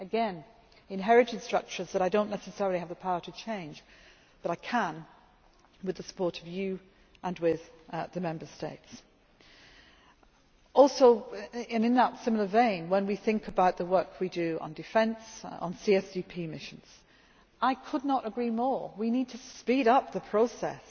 again, inherited structures which I do not necessarily have the power to change, but that I can with the support of you and with the Member States. In a similar vein, when we think about the work we do on defence, on CSDP missions, I could not agree more, we need to speed up the